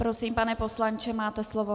Prosím, pane poslanče, máte slovo.